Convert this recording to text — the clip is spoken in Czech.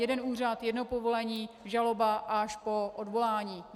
Jeden úřad, jedno povolení, žaloba až po odvolání.